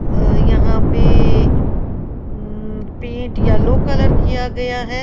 अह यहां पे um paint yellow colour किया गया है।